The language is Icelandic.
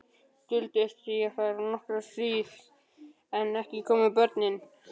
Duldist ég þar nokkra hríð en ekki komu börnin.